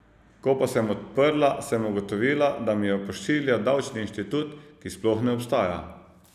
Ko pa sem odprla, sem ugotovila, da mi jo pošilja Davčni inštitut, ki sploh ne obstaja.